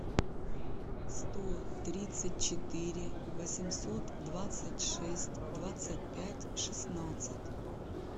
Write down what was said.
сто тридцать четыре восемьсот двадцать шесть двадцать пять шестнадцать